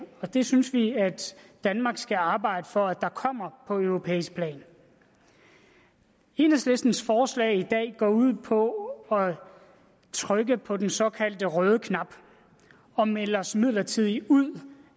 og det synes vi danmark skal arbejde for der kommer på europæisk plan enhedslistens forslag i dag går ud på at trykke på den såkaldte røde knap og melde os midlertidigt ud